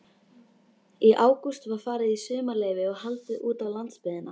Í ágúst var farið í sumarleyfi og haldið útá landsbyggðina.